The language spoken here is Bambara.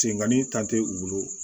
Sengani tan tɛ u bolo